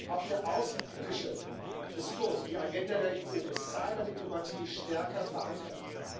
Auch der außenpolitische Diskurs und die Agenda der EU muss Cyberdiplomatie stärker verankern.